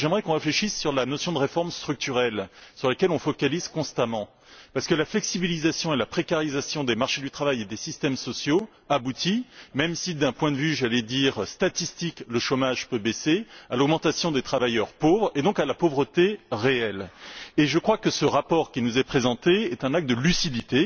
J'aimerais qu'on réfléchisse sur la notion de réforme structurelle sur laquelle on se focalise constamment, parce que la flexibilisation et la précarisation des marchés du travail et des systèmes sociaux aboutissent même si d'un point de vue, j'allais dire statistique, le chômage peut baisser à l'augmentation des travailleurs pauvres et donc à la pauvreté réelle. Je crois que le rapport qui nous est présenté est un acte de lucidité